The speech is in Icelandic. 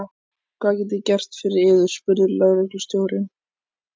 Hvað get ég gert fyrir yður? spurði lögreglustjóri.